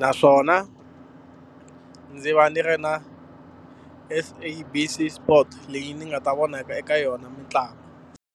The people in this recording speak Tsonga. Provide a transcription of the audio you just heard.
Naswona ndzi va ndzi ri na SABC sport leyi ni nga ta vonaka eka yona mitlangu.